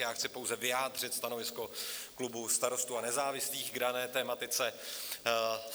Já chci pouze vyjádřit stanovisko klubu Starostů a nezávislých k dané tematice.